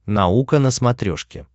наука на смотрешке